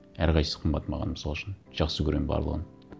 әрқайсысы қымбат маған мысал үшін жақсы көремін барлығын